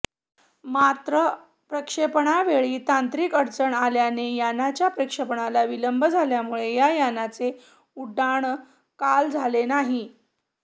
मात्र प्रक्षेपणावेळी तांत्रिक अडचण आल्याने यानाच्या प्रक्षेपणाला विलंब झाल्यामुळे या यानाचे उड्डाण काल झाले नाही